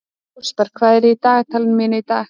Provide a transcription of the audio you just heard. Rósberg, hvað er á dagatalinu mínu í dag?